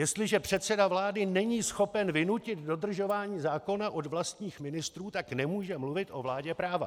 Jestliže předseda vlády není schopen vynutit dodržování zákona od vlastních ministrů, tak nemůže mluvit o vládě práva.